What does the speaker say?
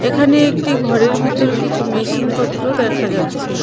এখানে একটি ঘরের ভেতর কিছু মেশিনপত্র দেখা যাচ্ছে.